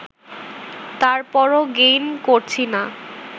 তারপরও গেইন করছি না